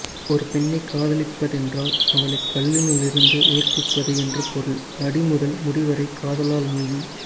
ஒரு பெண்ணை காதலிப்பதென்றால் அவளைக் கல்லினுள்ளிருந்து உயிர்ப்பிப்பது என்று பொருள் அடிமுதல் முடிவரை காதலால் நீவி